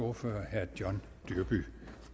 ordfører herre john dyrby